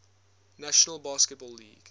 national basketball league